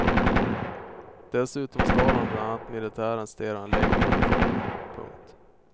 Dessutom stal han bland annat militärens stereoanläggning och uniform. punkt